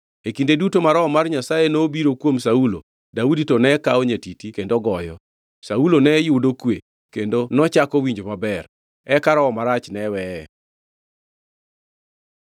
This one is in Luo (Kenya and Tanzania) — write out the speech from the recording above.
E kinde duto ma Roho mar Nyasaye nobiro kuom Saulo, Daudi to ne kawo nyatiti kendo goyo. Saulo ne yudo kwe; kendo nochako winjo maber, eka roho marach ne weye.